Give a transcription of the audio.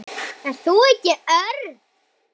Ert þú ekki Örn?